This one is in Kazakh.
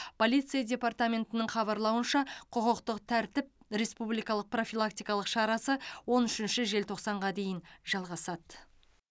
полиция департаментінің хабарлауынша құқықтық тәртіп республикалық профилактикалық шарасы он үшінші желтоқсанға дейін жалғасады